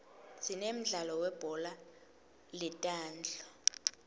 sinemdlalo weubhola letandla